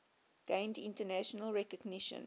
gained international recognition